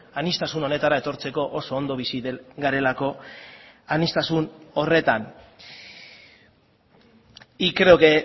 aniztasun honetara etortzeko oso ondo bizi garelako aniztasun horretan y creo que